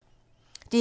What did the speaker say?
DR1